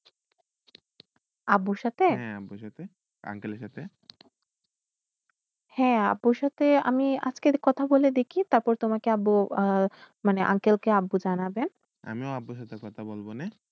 আবুর সাথ uncle র সাথ হয়ে আবুর সাথে আমি কি কথা বলে দেখি মান uncle কে আবু জানাবেন আমিও আবুর সাথে কথা বলব নেই